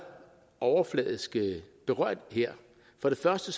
overfladisk berørt her for det første